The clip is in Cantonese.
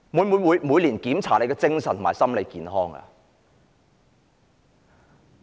會否每年檢查官員的精神和心理健康呢？